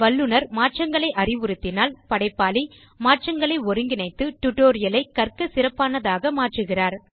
வல்லுநர் மாற்றங்களை அறிவுறுத்தினால் படைப்பாளி மாற்றங்களை ஒருங்கிணைத்து டியூட்டோரியல் ஐக் கற்கச் சிறப்பானதாக மாற்றுகிறார்